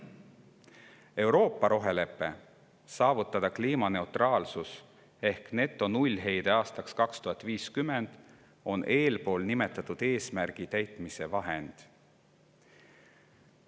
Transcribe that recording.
Euroopa rohelepe, saavutada kliimaneutraalsus ehk netonullheide aastaks 2050, on eespool nimetatud eesmärgi täitmise vahend.